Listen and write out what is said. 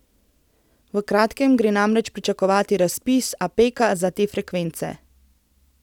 V kratkem gre namreč pričakovati razpis Apeka za te frekvence.